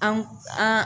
An an